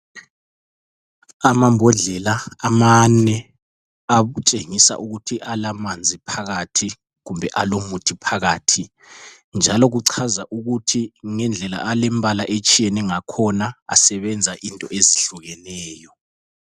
Amambodlela amane atshengisa ukuthi alamanzi phakathi kumbe alomuthi phakathi. Njalo kuchaza ukuthi ngendlela alemibala etshiyene ngakhona asebenza into ezihlukeneyo.